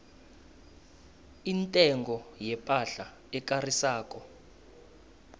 intengo yepahla ekarisako